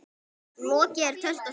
Lokið er tölti og skeiði.